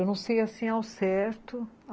Eu não sei, assim, ao certo.